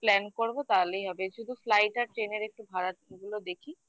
plan করবো তাহলেই হবে শুধু flight আর train এর একটু ভাড়াগুলো দেখি